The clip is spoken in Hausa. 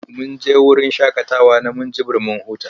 Mun je wurin shaƙatawa na Minjibir mun huta.